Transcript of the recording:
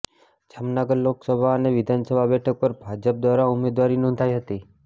જામનગર લોકસભા અને વિધાનસભા બેઠક પર ભાજપ દ્વારા ઉમેદવારી નોંધાઇ હતી